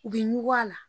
U bɛ ɲugu a la